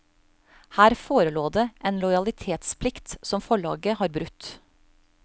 Her forelå det en lojalitetsplikt som forlaget har brutt.